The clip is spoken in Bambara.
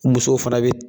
Musow fana bɛ